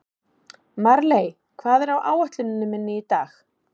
Marley, hvað er á áætluninni minni í dag?